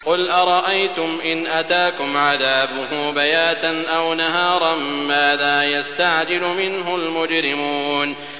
قُلْ أَرَأَيْتُمْ إِنْ أَتَاكُمْ عَذَابُهُ بَيَاتًا أَوْ نَهَارًا مَّاذَا يَسْتَعْجِلُ مِنْهُ الْمُجْرِمُونَ